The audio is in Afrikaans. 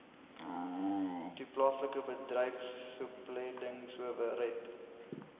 toe paslike bedryfsopleidingsowerheid